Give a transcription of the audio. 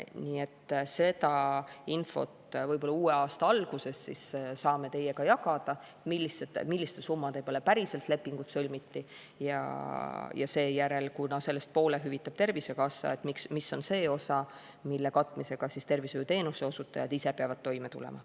Nii et uue aasta alguses saame teiega jagada seda infot, milliste summade peale päriselt lepingud sõlmiti, ja seejärel – kuna poole hüvitab Tervisekassa –, mis on see osa, mille katmisega tervishoiuteenuse osutajad ise peavad toime tulema.